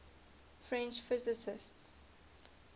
french physicists